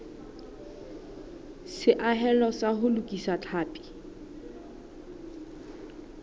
seahelo sa ho lokisa tlhapi